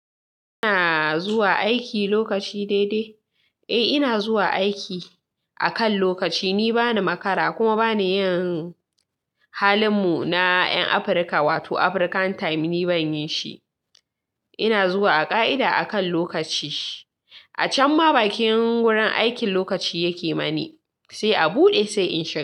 Eh ina zuwa aiki lokaci daidai. Eh ina zuwa aiki akan lokaci. Ni bani makara kuma bani yin halin mu na 'yan Afrika wato African time ni ban yi shi. Ina zuwa a ka'ida akan lokaci. A can ma bakin wurin aikin lokaci yake mani, sai a buɗe sai in shiga.